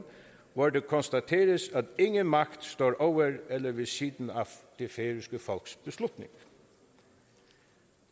hvor det konstateres at ingen magt står over eller ved siden af det færøske folks beslutninger